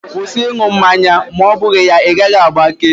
Kwụsị ị ṅụ mmanya ma ọ bụghị ya, ị gaghị agbake!